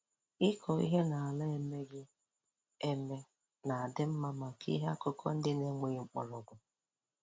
Ịkọ ihe n'ala emighị emi na-adị mma maka ihe akụkụ ndị na-enweghị mgbọrọgwụ